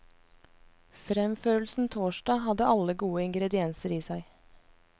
Fremførelsen torsdag hadde alle gode ingredienser i seg.